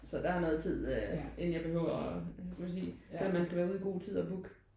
Så der er noget tid inden jeg behøver kan man sige selvom man skal være ude i god tid og booke